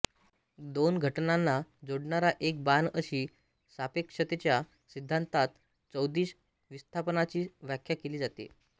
दोन घटनांना जोडणारा एक बाण अशी सापेक्षतेचा सिद्धान्तात चौदिश विस्थापनाची व्याख्या केली जाते